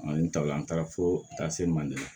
n ta la an taara fo ka taa se manden ma